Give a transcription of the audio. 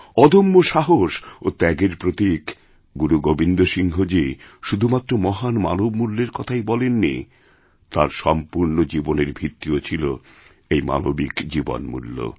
অদম্য সাহস ও ত্যাগের প্রতীক গুরু গোবিন্দ সিংহজী শুধুমাত্রমহান মানব মূল্যের কথাই বলেননি তাঁর সম্পূর্ণ জীবনের ভিত্তিও ছিল এই মানবিকজীবনমূল্য